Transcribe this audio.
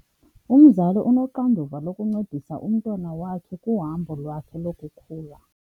Umzali unoxanduva lokuncedisa umntwana wakhe kuhambo lwakhe lokukhula.